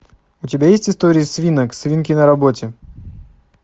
у тебя есть истории свинок свинки на работе